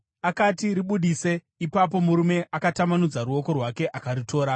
Akati, “Ribudise.” Ipapo murume akatambanudza ruoko rwake akaritora.